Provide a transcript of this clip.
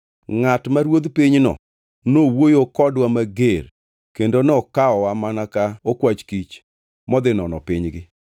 “Ngʼat ma ruodh pinyno nowuoyo kodwa mager kendo nokawowa mana ka okwach kich modhi nono pinygi.